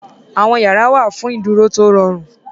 Àwọn yàrá wà fún ìdúró tó rọrùn.